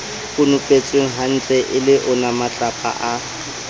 konopetswenghantle e le onamatlapa a